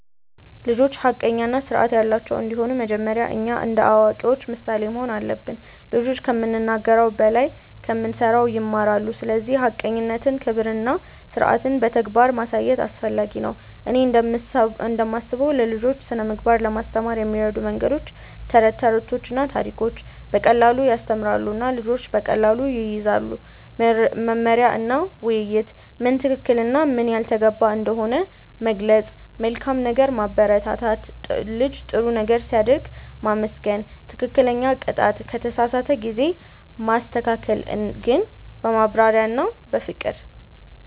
ልጆች ሐቀኛ እና ስርዓት ያላቸው እንዲሆኑ መጀመሪያ እኛ እንደ አዋቂዎች ምሳሌ መሆን አለብን። ልጆች ከምንናገር በላይ ከምንሠራ ይማራሉ፤ ስለዚህ ሐቀኝነትን፣ ክብርን እና ስርዓትን በተግባር ማሳየት አስፈላጊ ነው። እኔ እንደምስበው ለልጆች ስነ ምግባር ለማስተማር የሚረዱ መንገዶች፦ ተረቶችና ታሪኮች –> በቀላሉ ያስተምራሉ እና ልጆች በቀላሉ ይያዙታል። መመሪያ እና ውይይት –> ምን ትክክል እና ምን ያልተገባ እንደሆነ መግለጽ። መልካም ነገር ማበረታት –> ልጅ ጥሩ ነገር ሲያደርግ ማመስገን። ትክክለኛ ቅጣት –> ከተሳሳተ ጊዜ ማስተካከል ግን በማብራሪያ እና በፍቅር።